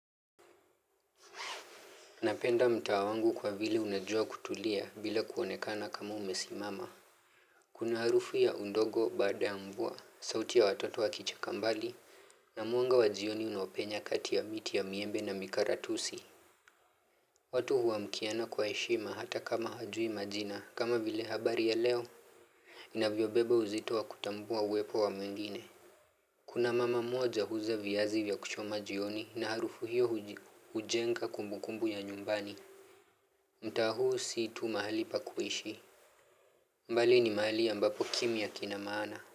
Napenda mtaa wangu kwa vile unajua kutulia bila kuonekana kama umesimama. Kuna harufu ya undogo baada mvua, sauti ya watoto wa kicheka mbali, na mwanga wa jioni unapenya kati ya miti ya miembe na mikaratusi. Watu huamkiana kwa heshima hata kama hajui majina kama vile habari ya leo inavyobeba uzito wa kutambua uwepo wa mengine. Kuna mama moja huuza viazi vya kuchoma jioni na harufu hiyo hujenga kumbukumbu ya nyumbani. Mtaa huu si tu mahali pa kuishi bali ni mahali ambapo kimia kinamana.